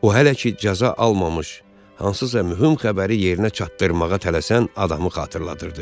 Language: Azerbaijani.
O hələ ki cəza almamış, hansısa mühüm xəbəri yerinə çatdırmağa tələsən adamı xatırladırdı.